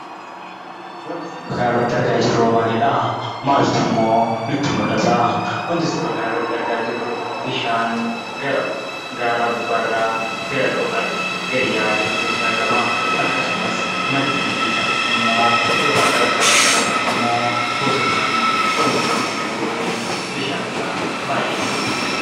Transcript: Wanti suura kanarratti argaa jirruwoo maalidhaa? maaltummoo nutti mul'ataa? Wanti suura kanarratti argaa jirru bishaan gara gaaraa gubbaarraa gara dhooqaatti gadi yaa'aa jirutu nutti argamaa. Akkasumas maddi maddiisaa ammoo yookaan qarqara qarqara isaa ammoo bosonaan uwwifamee kan jiruu fi bishaansaa baay'ee kan namatti tolu.